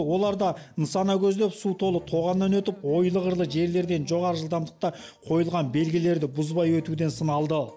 олар да нысана көздеп су толы тоғаннан өтіп ойлы қырлы жерлерден жоғары жылдамдықта қойылған белгілерді бұзбай өтуден сыналды